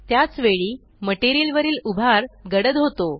त्याच वेळी मटेरियल वरील उभार गडद होतो